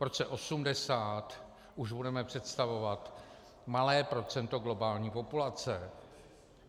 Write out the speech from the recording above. V roce 2080 už budeme představovat malé procento globální populace.